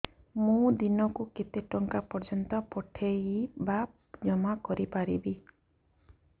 ମୁ ଦିନକୁ କେତେ ଟଙ୍କା ପର୍ଯ୍ୟନ୍ତ ପଠେଇ ବା ଜମା କରି ପାରିବି